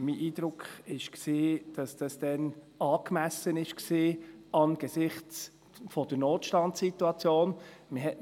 Mein Eindruck war, dass dies damals angesichts der Notstandsituation angemessen war.